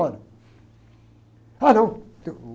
embora. Ah, não, tem uh...